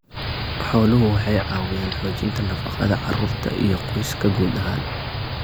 Xooluhu waxay caawiyaan xoojinta nafaqada carruurta iyo qoyska guud ahaan.